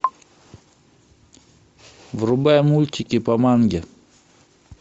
врубай мультики по манге